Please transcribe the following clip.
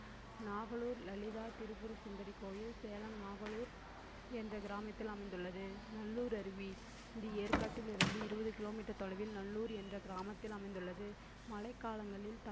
நாகலூர் லலிதா திரிபுரசுந்தரி கோயில் சேலம் நாகலூர் என்ற கிராமத்தில் அமைந்துள்ளது நல்லூர் அருவி இது ஏற்காட்டில் இருந்து இருபது kilometer தொலைவில் நல்லூர் என்ற கிராமத்தில் அமைந்துள்ளது மழைக் காலங்களில்